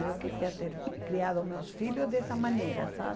Eu queria ter criado meus filhos dessa maneira, sabe?